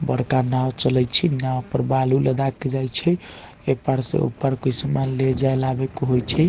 बड़का नाव चलय छै नाव पर बालू लदा के जाय छै ए पार से ओय पार कोई समान लेजा आवे के होय छै।